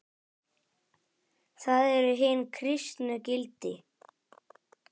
Það eru hin kristnu gildi.